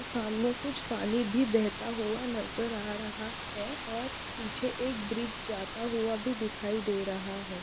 सामने कुछ पानी भी बेहता हुआ नज़र आ रहा है और पीछे एक ब्रिज जाता हुआ भी दिखाई दे रहा है।